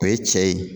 O ye cɛ ye